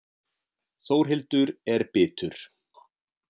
Þórhildur er bitur.